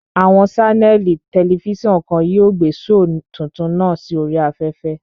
Àwọn ṣánẹ̀lì tẹlifísàn kan yóò gbé shoò tuntun náà sí oríi afẹ́fẹ́